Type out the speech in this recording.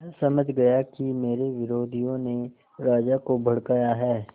वह समझ गया कि मेरे विरोधियों ने राजा को भड़काया है